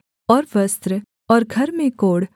और वस्त्र और घर के कोढ़